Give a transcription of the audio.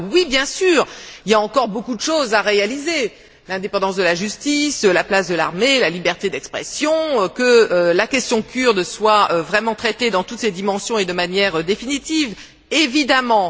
Oui, bien sûr, il y a encore beaucoup de choses à réaliser l'indépendance de la justice, la place de l'armée, la liberté d'expression, que la question kurde soit vraiment traitée dans toutes ses dimensions et de manière définitive, évidemment.